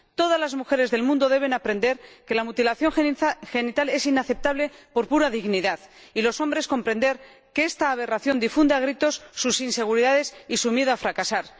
Todas las mujeres del mundo deben aprender que la mutilación genital es inaceptable, por pura dignidad, y los hombres deben comprender que esta aberración difunde a gritos sus inseguridades y su miedo a fracasar.